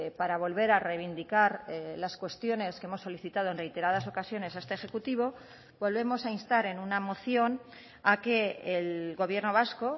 para volver a reivindicar las cuestiones que hemos solicitado en reiteradas ocasiones a este ejecutivo volvemos a instar en una moción a que el gobierno vasco